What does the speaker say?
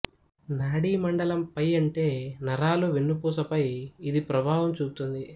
నాడీ మండలం పై అంటే నరాలు వెన్నుపూస పై ఇది ప్రభావం చూపుతుంది